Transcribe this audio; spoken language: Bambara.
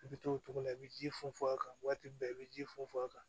I bɛ to o cogo la i bɛ ji funfun a kan waati bɛɛ i bɛ ji funfun a kan